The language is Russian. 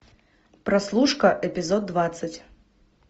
прослушка эпизод двадцать